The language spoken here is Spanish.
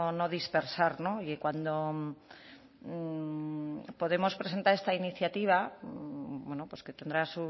no dispersar y cuando podemos presenta esta iniciativa que tendrá